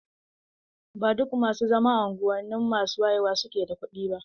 Ba duk masu zama a unguwanni masu wayewa suke da kuɗi ba.